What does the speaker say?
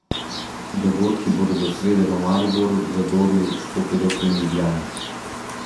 Dogodki bodo do srede v Mariboru, Zagorju, Škofji Loki in Ljubljani.